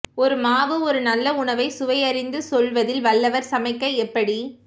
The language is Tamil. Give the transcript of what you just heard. ஒரு மாவு ஒரு நல்ல உணவை சுவை அறிந்து சொல்வதில் வல்லவர் சமைக்க எப்படி